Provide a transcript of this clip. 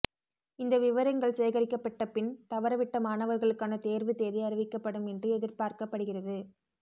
இந்த விவரங்கள் சேகரிக்கப்பட்ட பின் தவறவிட்ட மாணவர்களுக்கான தேர்வு தேதி அறிவிக்கப்படும் என்று எதிர்பார்க்கப்படுகிறது